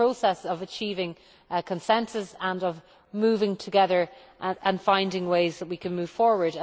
It is a process of achieving consensus and of moving together and finding ways in which we can move forward.